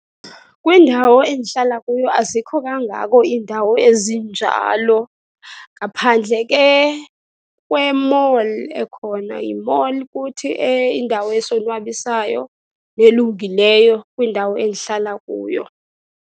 Kwindawo endihlala kuyo azikho kangako iindawo ezinjalo, ngaphandle ke kwe-mall ekhona. Yi-mall kuthi indawo esonwabisayo nelungileyo kwindawo endihlala kuyo.